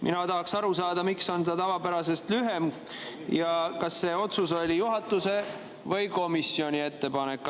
Mina tahaks aru saada, miks on see tavapärasest lühem ja kas see oli juhatuse või komisjoni ettepanek.